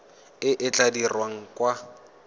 e e tla dirwang kwa